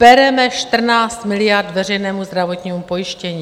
Bereme 14 miliard veřejnému zdravotnímu pojištění.